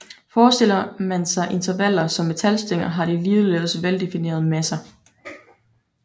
Forestiller man sig intervaller som metalstænger har de ligeledes veldefinerede masser